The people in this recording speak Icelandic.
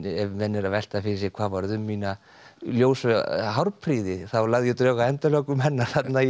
ef menn eru að velta fyrir sér hvað varð um mína ljósu þá lagði ég drög að endalokum hennar þarna í